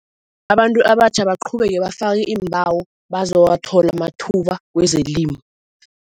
Abantu abatjha abaqhubeke bafake iimbawo bazawathola amathuba wezelimo.